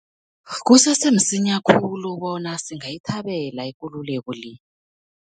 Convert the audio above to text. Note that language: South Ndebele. Kusese msinya khulu bona singayithabela ikululeko le.